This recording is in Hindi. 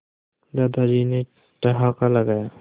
दादाजी ने ठहाका लगाया